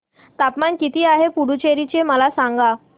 तापमान किती आहे पुडुचेरी चे मला सांगा